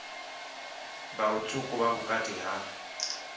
vha lutswuku vha vhukati ha